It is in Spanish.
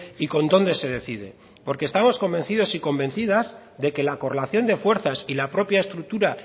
y con dónde se decide porque estamos convencidos y convencidas de que la correlación de fuerzas y la propia estructura